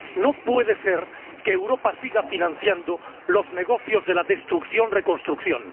No puede ser que Europa siga financiando los negocios de la destrucción reconstrucción.